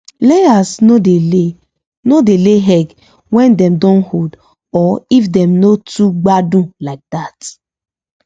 layers no dey lay no dey lay egg when dem don old or if dem no toogbadun like that